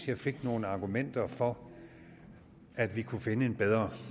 jeg fik nogle argumenter for at vi kunne finde en bedre